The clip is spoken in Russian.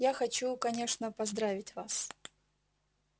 я хочу конечно поздравить вас